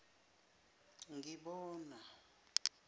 ngibona